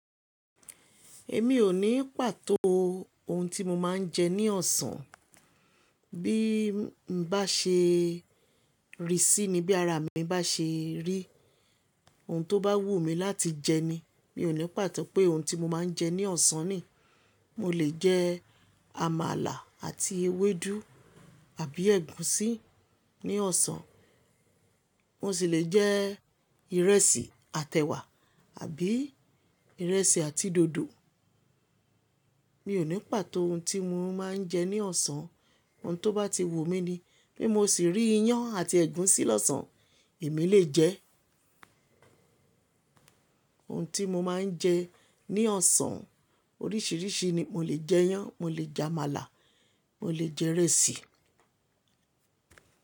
Èmi ò ní pàtó ohun tí mo máa ń jẹ ní ọ̀sán. Bí n bá ṣe rí sí ni, bí ara mi bá ṣe rí. Ohun tó bá wù mí láti jẹ ni, mi ò ní pàtó pé ohun tí mo máa ń jẹ ní ọ̀sán ni. Mo lè jẹ àmàlà àti ewédú àbí ẹ̀gúsí ní ọ̀sán. Mo sì lè jẹ ìrẹsì àtẹ̀wà àbí ìrẹsì àti dòdò. Mi ò ní pàtó ohun tí mo máa ń jẹ ní ọ̀sán. Ohun tó bá ti wù mí ni. Bí mo sì rí iyán àti ẹ̀gúsí lọ́sàn, èmi lè jẹ. Ohun tí mo máa ń jẹ ní ọ̀sán oríṣìíríṣìí ni, mo lè jẹ iyán, mo lè jẹ àmàlà, mo lè jẹ ìrẹsì.